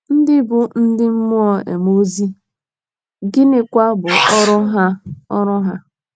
ndị bụ ndị mmụọ um ozi, um gịnịkwa bụ ọrụ ha ọrụ ha um?